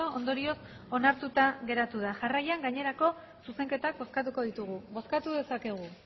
ondorioz onartuta geratu da jarraian gainerako zuzenketak bozkatuko ditugu bozkatu dezakegu